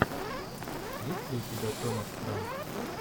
есть ли у тебя томас франк